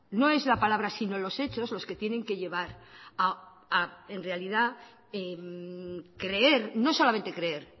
no es la palabra sino los hechos los que tienen que llevar en realidad a creer no solamente creer